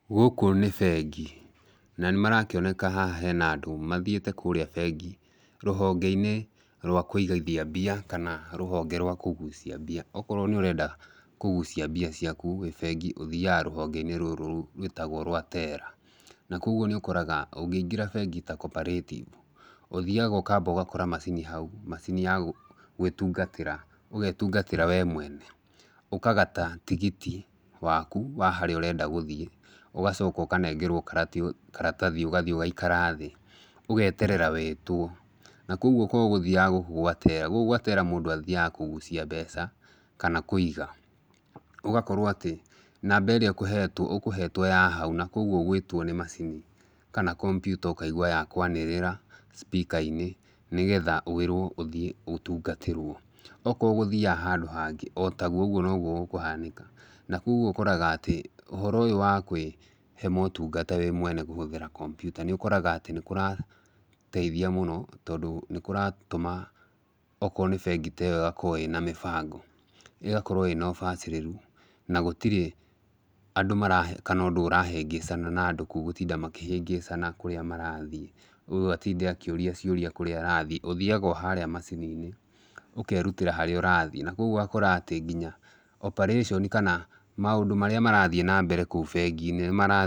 Gũkũ nĩ bengi na nĩ marakĩoneka haha hena andũ mathiĩte kũrĩa bengi rũhonge-inĩ rwa kũigithia mbia kana rũhonge rwa kũgucia mbia. Okorwo nĩ ũrenda kũgucia mbia ciaku wĩ bengi ũthiaga rũhonge-inĩ rũrũ rwĩtagwo rwa teller. Na koguo nĩ ũkoraga ũngĩingĩra bengi ta Cooperative, ũthiaga ũgakora macini hau macini ya gwĩtungatĩra, ũgetungatĩra we mwene. Ũkagata tigiti waku wa harĩa ũrenda gũthiĩ ũgacoka ũkanengerwo karatathi ũgathiĩ ũgaikara thĩ ũgeterera wĩtwo. Na kwoguo korwo ũgũthiaga gũkũ gwa teller gũkũ gwa teller mũndũ athiaga kũgucia mbeca kana kũiga. Ũgakorwo atĩ namba ĩrĩa ũkũhetwo, ũkũhetwo ya hau na koguo ũgwĩtwo nĩ macini kana kompiuta ũkaigua yakwanĩrĩra speaker inĩ nĩgetha wĩrwo ũthiĩ ũtungatĩrwo. Okorwo ũgũthiaga handũ hangĩ o taguo ũguo noguo gũkũhanĩka. Na kwoguo ũkoraga atĩ ũhoro ũyũ wa kwĩhe motungata wĩ mwene kũhũthĩra kompiuta nĩ ũkoraga atĩ nĩ kũrateithia mũno tondũ nĩ kũratũma okorwo nĩ bengi ta ĩyo ĩgakorwo ĩna mĩbango, ĩgakorwo ĩna ũbacĩrĩru na gũtirĩ andũ mara kana ũndũ ũrahĩngĩcana na andũ kũu gũtinda makĩhĩngĩcana kũrĩa marathiĩ, ũyũ atinda akĩũria ciũria kũrĩa arathiĩ. Ũthiaga o harĩa macini-inĩ ũkerutĩra harĩa ũrathiĩ. Na kwoguo ũgakora atĩ nginya operation kana maũndũ marĩa marathiĩ na mbere kũu bengi-inĩ nĩ mara...